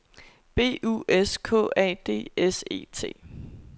B U S K A D S E T